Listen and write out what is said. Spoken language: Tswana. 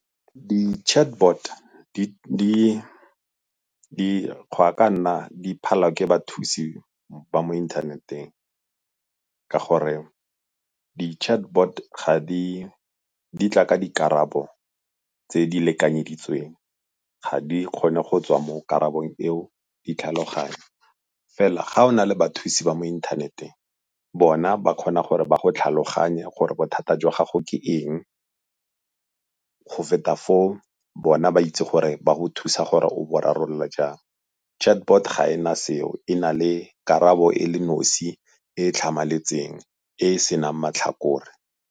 Di-chatbot go ya ka nna di phala ke bathusi ba mo inthaneteng ka gore di-chatbot di tla ka dikarabo tse di lekanyeditsweng, ga di kgone go tswa mo karabong eo di tlhaloganya. Fela ga go na le bathusi ba mo inthaneteng bona ba kgona gore ba go tlhaloganye gore bothata jwa gago ke eng, go feta foo bona ba itse gore ba go thusa gore o bo rarabolola jang. Chatbot ga e na seo e na le karabo e le nosi e e tlhamaletseng e e se nang matlhakore.